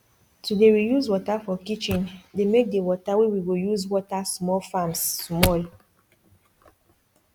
to dey reuse water for kitchendey make the water wey we go use water small farms small